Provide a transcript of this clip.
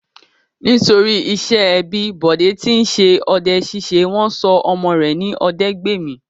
Nítorí iṣẹ́ ẹbí Bọ̀dé tí ń ṣe ọdẹ-ṣíṣe, wọ́n sọ ọmọ rẹ̀ ní Ọdẹ́gbèmí.